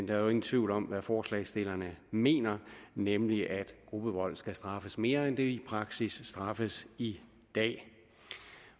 jo ingen tvivl om hvad forslagsstillerne mener nemlig at gruppevold skal straffes mere end det i praksis straffes i dag